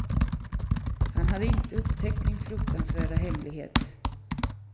Han hade inte upptäckt min fruktansvärda hemlighet.